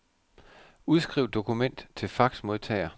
Udskriv dokument til faxmodtager.